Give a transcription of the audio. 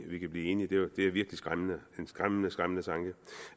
vi kan blive enige det er virkelig skræmmende en skræmmende skræmmende tanke